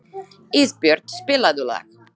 Ísbjört, spilaðu lag.